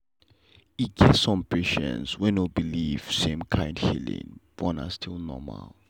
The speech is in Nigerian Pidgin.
e get some patients wey no believe same kind healing but na still normal.